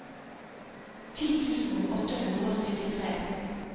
ti tusen åtte hundre og syttitre